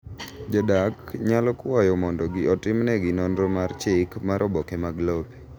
Jodak nyalo kwayo mondo otimnegi nonro mar chik mar oboke mag lope.